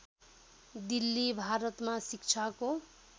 दिल्ली भारतमा शिक्षाको